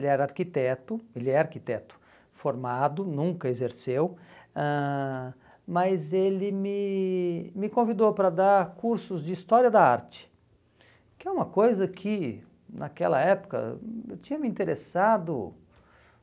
Ele era arquiteto, ele é arquiteto formado, nunca exerceu, ãh mas ele me me convidou para dar cursos de História da Arte, que é uma coisa que, naquela época, hum eu tinha me interessado